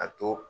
A to